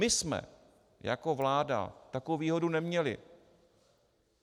My jsme jako vláda takovou výhodu neměli.